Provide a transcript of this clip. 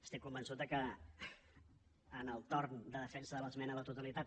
estic convençut que en el torn de defensa de l’esmena a la totalitat